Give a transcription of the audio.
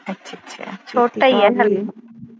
ਅੱਛਾ ਅੱਛਾ ਛੋਟਾ ਈ ਏ ਹਲੇ